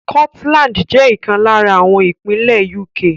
Scotland jẹ́ ìkan lára àwọn ìpínlè UK.